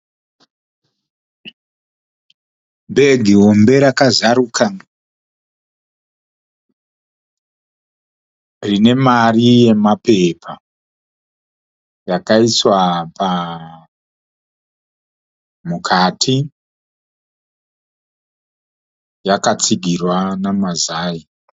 Bhegi hombe rakazaruka, rine mari nemapepa yakaiswa mukati yakatsigirwa namazai.